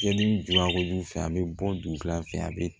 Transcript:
Jeli duba ko jugu fɛ a be bɔ dugu fɛ a be